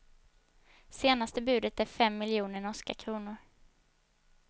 Senaste budet är fem miljoner norska kronor.